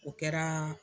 O kɛra